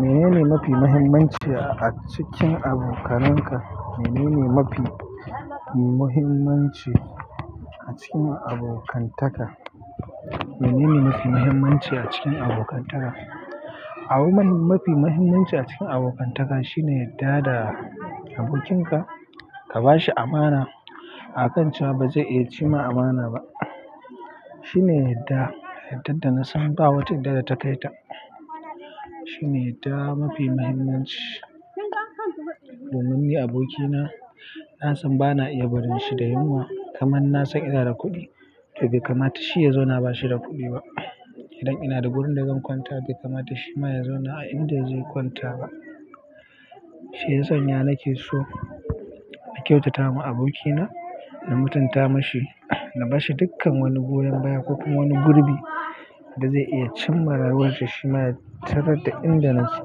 Mene ne mafi muhimmanci a cikin abokanan ka? Mene ne mafi muhimmanci a cikin abokantaka? Mene ne mafi muhimmanci a cikin abokantaka? Abu mafi muhimmanci a cikin abokantaka shi ne yarda da abokin ka, akan cewa ba zai ci ma ka amana ba shi ne yadda, yadda da na san ba wata yadda da ta kai ta. Shine yadda mafi muhimmanci. Domin ni abokina, na san bana iya barin shi da yunwa kamar na san ina da kuɗi. To bai kamata shi ya zauna ba shi da kuɗi ba idan ina da wurin da zan kwanta bai kamata shi ma ya zauna a inda zai kwanta ba. Shi ya sanya nake so na kyautata wa abokina, na mutunta mashi, na ba shi dukkan wani goyon baya ko kuma wani gurbi da zai iya cimma rayuwarsa. Shi ma ya tarar da inda nake.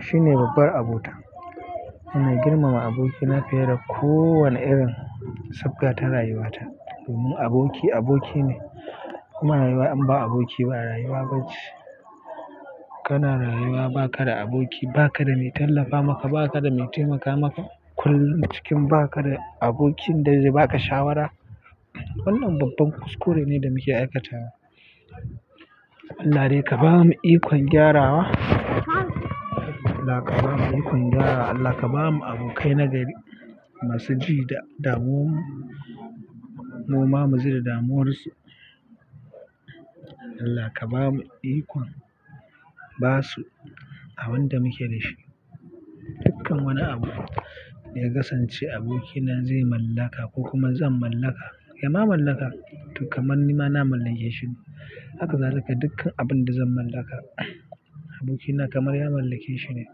Shine babbar abota. Ina girmama abokina fiye da kowane irin sabga ta rayuwata. Domin aboki aboki ne, kuma rayuwa in ba aboki ba rayuwa ba ce. Kana rayuwa ba ka da aboki, ba ka da mai tallafa maka, ba ka da mai taimaka maka. Kullum cikin ba ka da abokin da zai ba ka shawara. Wannan babban kuskure ne da muke aikatawa. Allah dai ka ba mu ikon gyarawa, Allah ka ba mu ikon gyarawa, Allah ka ba mu abokai nagari masu ji da damuwan mu, mu ma mu ji da damuwar su. Allah ka ba mu ikon basu abin da muke da shi. Dukkan wani abu da ya kasance abokina zai mallaka ko kuma zan mallaka, ya ma mallaka to kamar ni ma na mallake shi. Haka zalika dukkan abin da zan mallaka abokina kamar ya mallake shine.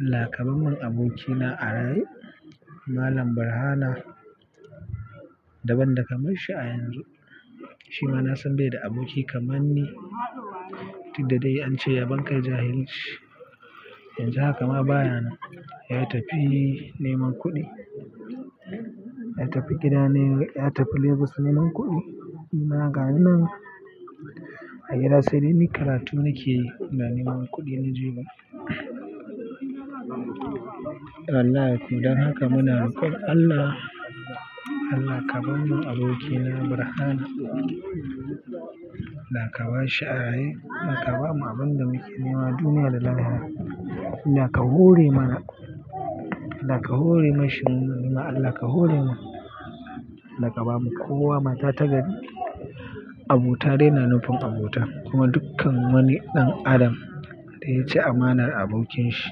Allah ka bar mun abokina a raye Malam Barhana da ban da kamar shi a yanzu. Shi ma na san bai da aboki kamar ni duk da dai an ce yabon kai jahilci. Yanzu haka ma baya nan, ya tafi neman kuɗi, ya tafi gida ne, ya tafi Lagos neman kuɗi. Ni ma gani nan a gida sai dai ni karatu nake yi, kuma ina neman kuɗi na juya. Wallahi kuwa don haka muna roƙon Allah. Allah ka bar mun abokina Barhama. Allah ka bar shi a raye. Allah ka ba mu abin da muke nema duniya da lahira. Allah ka hore mana, Allah ka hore mashi, ni ma Allah ka hore mun. Allah ka ba ma kowa mata ta gari. Abota dai na nufin abota kuma dukkan wani ɗan adam da ya ci amanar abokin shi,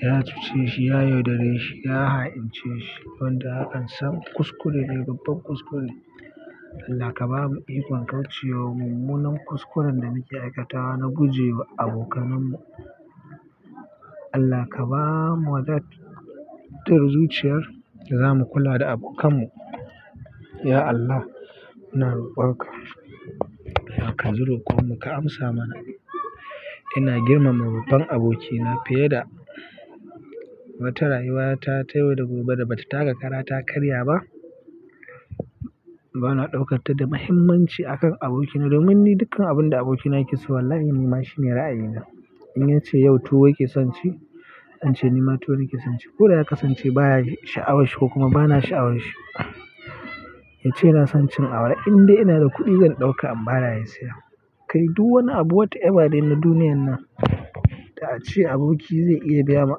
ya cuce shi, ya yaudare shi, ya ha'ince shi, wanda hakan sam kuskure ne, babban kuskure. Allah ka ba mu ikon kauce wa mummunan kuskuren da muke aikatawa na guje wa abokanan mu. Allah ka ba mu wadatar zuciya da za mu kula da abokan mu ya Allah muna roƙon ka, ya Allah ka ji roƙon mu ka amsa mana ina girmama babban abokina fiye da wata rayuwata ta yau da gobe da bata taka ƙara ta karya ba. Bana ɗaukar ta da muhimmanci a kan abokina domin ni dukkan abin da abokina yake so wallahi nima shine ra'ayina. In yace yau tuwo yake son ci, zan ce ni ma tuwo nake son ci. Ko da ya kasance baya sha'awar shi ko kuma bana sha'awar shi, yace ya na son cin awara, in dai ina da kuɗi zan ɗauka in ba da yasiya. Kai du wani abu wata na duniyar nan da a ce aboki zai iya biya ma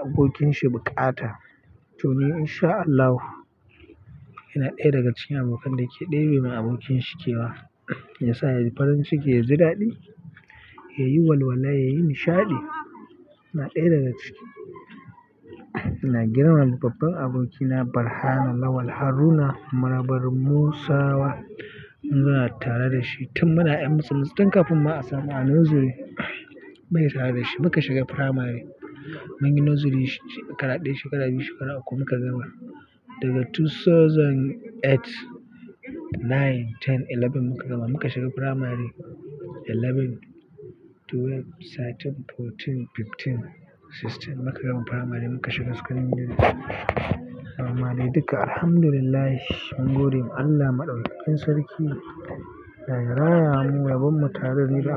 abokinsa buƙata. To ni insha Allahu ina ɗaya daga cikin abokan da ke ɗebe ma abokin shi kewa, ya sa ya yi farin ciki, ya ji daɗi, ya yi walwala, ya yi nishaɗi. Ina ɗaya daga ciki. Ina girmama babban abokina Barhama Lawal Haruna Marabar Musawa. Muna tare da shi tun muna 'yan musulmai, tun kafin mu a samu a nursery. Mun yi tare da shi, muka shiga firamare, mun yi nursery shekara ɗaya, shekara biyu, shekara uku muka gama daga dubu biyu da takwas, nine, ten, eleven muka gama. Muka shiga firamare eleven, twelve, thirteen, fourteen, fifteen, sixteen muka gama firamare muka shiga sakandare. Mu gama duka Alhamdulillah, mun gode wa Allah Maɗaukakin Sarki da ya raya mu, raban mu tare ni da.